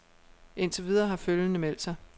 Indtil videre har følgende meldt sig.